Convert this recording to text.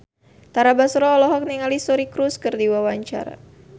Tara Basro olohok ningali Suri Cruise keur diwawancara